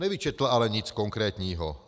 Nevyčetl ale nic konkrétního.